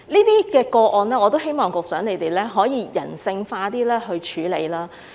對於這些個案，我希望局長可以比較人性化地處理。